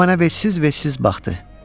O mənə vecsiz-vecsiz baxdı.